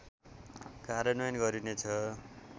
कार्यान्वयन गरिनेछ